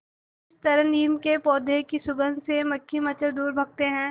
जिस तरह नीम के पौधे की सुगंध से मक्खी मच्छर दूर भागते हैं